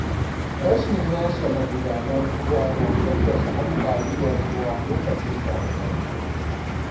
Rashin yashe magudanar ruwa na haddasa ambaliyar ruwa lokacin damuna.